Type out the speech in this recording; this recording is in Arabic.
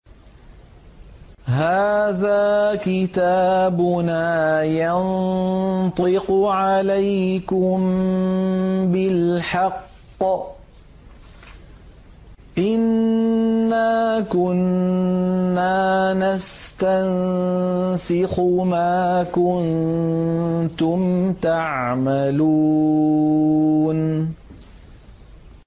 هَٰذَا كِتَابُنَا يَنطِقُ عَلَيْكُم بِالْحَقِّ ۚ إِنَّا كُنَّا نَسْتَنسِخُ مَا كُنتُمْ تَعْمَلُونَ